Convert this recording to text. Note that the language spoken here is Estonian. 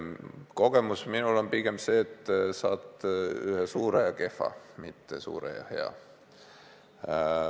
Minu kogemus on pigem see, et saad ühe suure ja kehva, mitte suure ja hea.